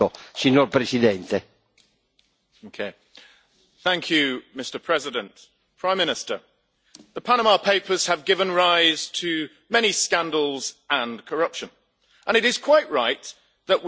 Mr President, the Panama Papers have given rise to many scandals and corruption, and it is quite right that we create laws to prevent such waste and deal with those scandals.